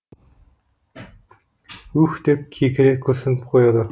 уһ деп кекіре күрсініп қояды